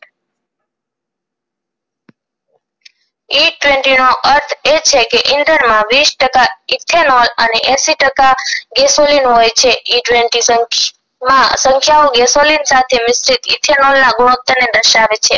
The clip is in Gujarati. નો અર્થ એજ છે કે ethar માં વીસ ટકા ethanol અને એંસી ટકા gasoline હોય માં સંખ્યાઑ gasoline સાથે ethanol ના ને દર્શાવે છે